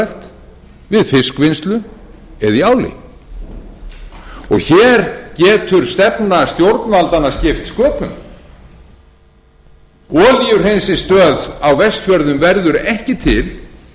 gróðurhúsarækt við fiskvinnslu eða í áli hér getur stefna stjórnvaldanna skipt sköpum olíuhreinsistöð á vestfjörðum verður ekki til